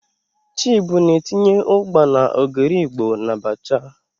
Chibu na-etinye ugba na ogiri Igbo n'abacha.